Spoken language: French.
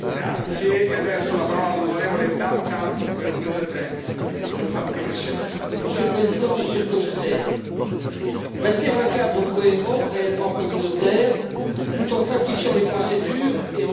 Monsieur le Président, Monsieur le Commissaire, bâtir un cadre cohérent réellement communautaire tout en simplifiant les procédures et en sécurisant le consommateur, telle est l'ambition que porte ce nouveau texte.